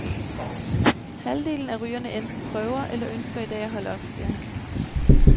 Halvdelen af rygerne enten prøver eller ønsker i dag at holde op, siger han.